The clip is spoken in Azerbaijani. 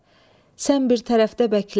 sən bir tərəfdə bəklə.